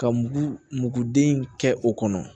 Ka muguden kɛ o kɔnɔ